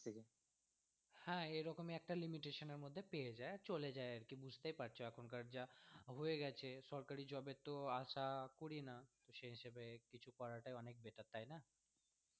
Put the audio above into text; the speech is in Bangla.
হ্যাঁ, এরকমই একটা limitation এর মধ্যে পেয়ে যায় চলে যায় আর কি বুঝতেই পারছ এখনকার যা হয়ে গেছে সরকারি job এর তো আশা করি না, তো সেই হিসেবে কিছু করাটাই অনেক better তাই না।